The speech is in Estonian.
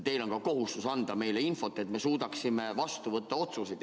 Teil on kohustus anda meile infot, et me suudaksime vastu võtta otsuseid.